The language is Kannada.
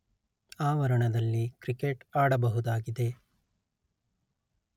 ಆವರಣದಲ್ಲಿ ಕ್ರಿಕೇಟ್ ಆಡಬಹುದಾಗಿದೆ